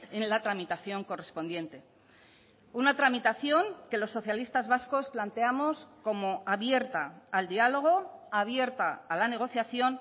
en la tramitación correspondiente una tramitación que los socialistas vascos planteamos como abierta al diálogo abierta a la negociación